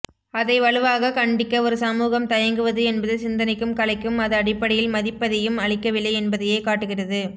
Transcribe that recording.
அதை வலுவாகக் கண்டிக்க ஒரு சமூகம் தயங்குவது என்பது சிந்தனைக்கும் கலைக்கும் அது அடிப்படையில் மதிப்பெதையும் அளிக்கவில்லை என்பதையே காட்டுகிறது